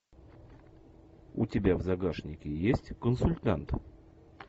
у тебя в загашнике есть консультант